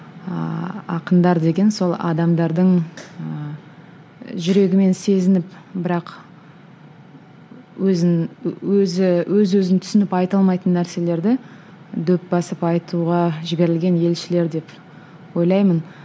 ыыы ақындар деген сол адамдардың ыыы жүрегімен сезініп бірақ өзін өзі өз өзін түсініп айта алмайтын нәрселерді дөп басып айтуға жіберілген елшілер деп ойлаймын